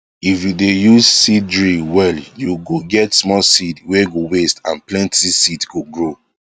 if you dey use seed drill well you go get small seed were go waste and plenty seed go grow